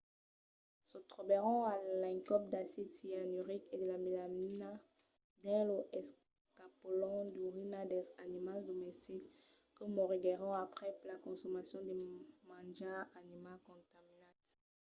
se trobèron a l'encòp d’acid cianuric e de melamina dins los escapolons d’urina dels animals domestics que moriguèron aprèp la consomacion de manjar animal contaminat